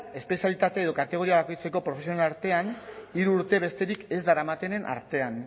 espezialitate edo kategoria bakoitzeko profesionalen artean hiru urte besterik ez daramatenen artean